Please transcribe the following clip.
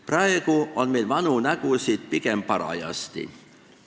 Praegu on meil vanu nägusid pigem parajasti.